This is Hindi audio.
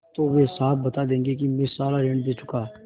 तो वे साफ बता देंगे कि मैं सारा ऋण दे चुका